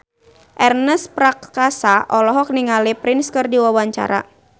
Ernest Prakasa olohok ningali Prince keur diwawancara